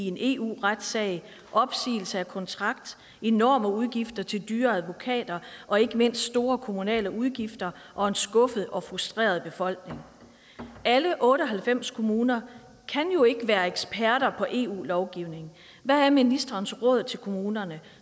en eu retssag en opsigelse af kontrakten enorme udgifter til dyre advokater og ikke mindst store kommunale udgifter og en skuffet og frustreret befolkning alle otte og halvfems kommuner kan jo ikke være eksperter i eu lovgivning hvad er ministerens råd til kommunerne